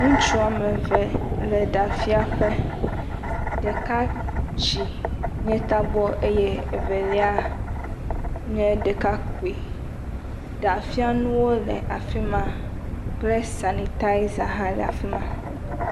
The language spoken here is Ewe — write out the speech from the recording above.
Ŋutsua wɔ me ve le ɖa fia ƒe. Ɖeka tsi nye tabɔ eye evelia nye ɖekakpui. Ɖafianuwo le afi ma kple sanitaza hã le afi ma.